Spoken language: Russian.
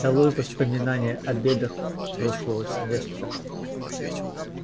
долой воспоминания о бедах прошлого семестра